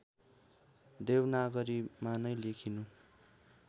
देवनागरीमा नै लेखिनु